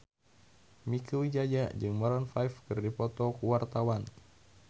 Mieke Wijaya jeung Maroon 5 keur dipoto ku wartawan